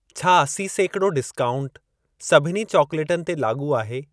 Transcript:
छा असी सेकिड़ो डिस्काउंटु सभिनी चॉकलेटनि ते लाॻू आहे?